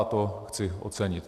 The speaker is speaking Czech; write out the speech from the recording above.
A to chci ocenit.